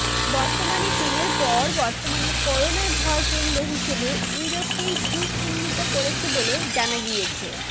বর্তমানে চিনের পর বর্তমানে করোনার ভরকেন্দ্র হিসেবে ইউরোপকেই হু চিহ্নিত করেছে বলে জানা গিয়েছে